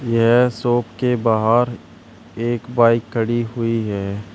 यह शॉप के बाहर एक बाइक खड़ी हुई है।